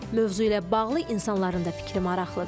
Mövzu ilə bağlı insanların da fikri maraqlıdır.